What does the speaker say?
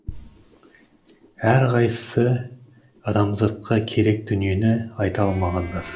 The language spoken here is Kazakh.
әрқайсысы адамзатқа керек дүниені айта алмағандар